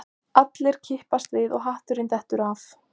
Allir kippast við og hatturinn dettur af